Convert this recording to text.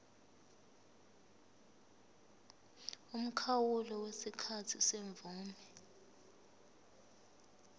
umkhawulo wesikhathi semvume